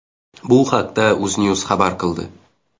Bu haqda UzNews xabar qildi .